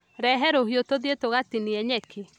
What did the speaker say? Rehe rũhiũtũthiĩ tũgatinie nyeki